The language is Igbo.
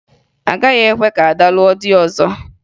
A gaghị ekwe ka Ada lụọ di ọzọ